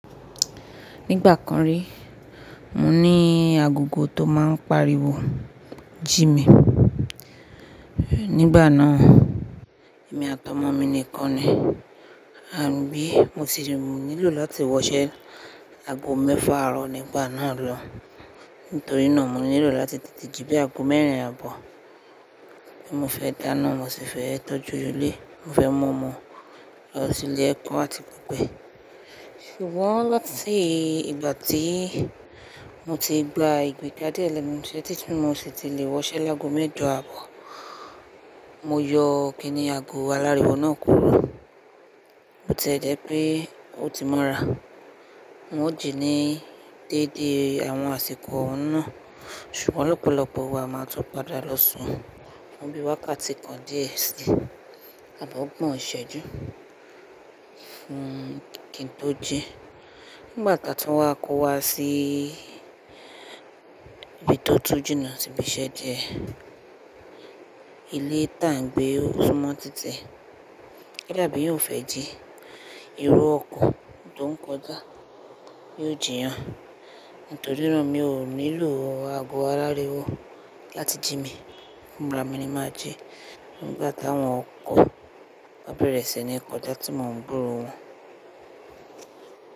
Nígbà kan rí, mo ní agogo tó máa ń pariwo jí mi. Nígbà náà, èmi àtọ̀mọ́ mi nìkan ni. Àbí mo ti rò wípé mo nílò láti wọṣẹ́ aago mẹ́fà àárọ̀ nígbà náà lọun. Nítorí náà mo nílò láti tètè jí bíi aago mẹ́rin àbọ̀. Bí mo fẹ́ dáná, mo sì fẹ́ tọ́jú ilé, mo fẹ́ mú ọmọ lọ sí ilé ẹ̀kọ́ àti gbogbo e. Ṣùgbọ́n láti ìgbà tí mo ti gba ìgbéjáde ẹlẹ́mu, ṣé títún mo sì ti lè wọṣẹ́ lágo mẹ́jọ aàbọ̀. Mo yọ kìíní ago aláriwo náà kúrò. Bó ti ẹ jẹ́ pé ó ti mọ́ra. N ó jí ní déédéé àwọn àsìkò oun náà. Ṣùgbọ́n lọ́pọ̀lọpọ̀ wa máa tó padà lọ sùn. Àmọ́ bií wákàtí kan díẹ̀ sí, àbí ọ̀gbọ̀n iṣẹ́jú. Fún kí n tó jí. Nígbà kan tí wọ́n á kó wa sí ibi tó tún jìnà sí ibi iṣẹ́ díẹ̀, ilé ti à n gbé ó súnmọ́ títi. Kódà bí èèyàn ò fẹ́ jí, irú ọkọ̀ tó ń kọjá. Yóò jí èèyàn. Nítorí náà mi ò nílò ago aláriwo láti jí mi. Fúnra mi ni màá jí nígbà táwọn ọkọ̀ wọ́n bá bẹ̀rẹ̀ sí ní kọjá tí mo ń gburo wọn.